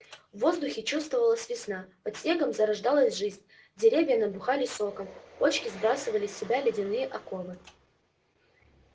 в воздухе чувствовалась весна под снегом зарождалась жизнь деревья набухали соком почки сбрасывали с себя ледяные оковы